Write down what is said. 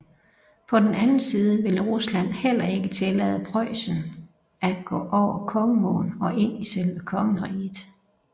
På den anden side ville Rusland heller ikke tillade Preussen at gå over Kongeåen og ind i selve kongeriget